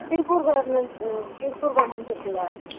திருப்பூர்க்கு வர்றது mam அஹ திருப்பூர் க்கு வர்ற நிம்சம் இருக்குல